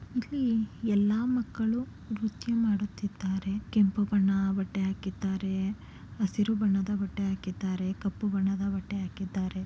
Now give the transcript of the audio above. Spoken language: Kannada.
ಇಲ್ಲಿ ಎಲ್ಲಾ ಮಕ್ಕಳು ನೃತ್ಯ ಮಾಡುತ್ತಿದ್ದಾರೆ. ಕೆಂಪು ಬಣ್ಣ ಬಟ್ಟೆ ಆಕಿದ್ದಾರೆ ಅಸಿರು ಬಣ್ಣದ ಬಟ್ಟೆ ಆಕಿದ್ದಾರೆ ಕಪ್ಪು ಬಣ್ಣದ ಬಟ್ಟೆ ಆಕಿದ್ದಾರೆ.